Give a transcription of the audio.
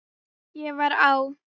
Ég var á